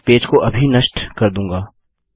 मैं पेज को अभी नष्ट कर दूँगा